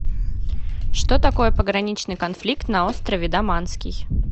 что такое пограничный конфликт на острове даманский